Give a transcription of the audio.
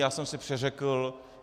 Já jsem se přeřekl.